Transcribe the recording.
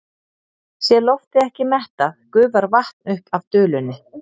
Sé loftið ekki mettað gufar vatn upp af dulunni.